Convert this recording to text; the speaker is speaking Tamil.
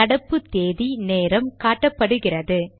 நடப்பு தேதி நேரம் காட்டப்படுகிறது